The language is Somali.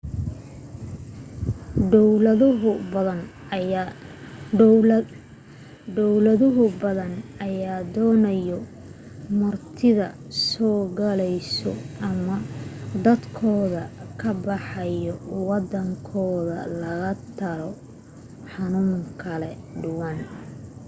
dawlado badan ayaa doonayo martida soo galayso ama dadkooda ka baxaayo wadankooda laga talaalo xanuuna kala duwan